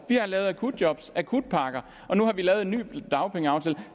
vi har lavet akutjobs akutpakker og nu har vi lavet en ny dagpengeaftale